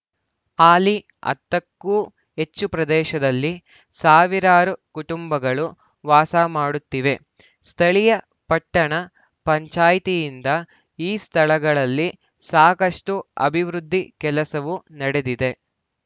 ಹಾಲಿ ಹತ್ತಕ್ಕೂ ಹೆಚ್ಚು ಪ್ರದೇಶದಲ್ಲಿ ಸಾವಿರಾರು ಕುಟುಂಬಗಳು ವಾಸ ಮಾಡುತ್ತಿವೆ ಸ್ಥಳೀಯ ಪಟ್ಟಣ ಪಂಚಾಯ್ತಿಯಿಂದ ಈ ಸ್ಥಳಗಳಲ್ಲಿ ಸಾಕಷ್ಟುಅಭಿವೃದ್ಧಿ ಕೆಲಸವೂ ನಡೆದಿದೆ